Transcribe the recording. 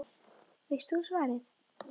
Veist þú svarið?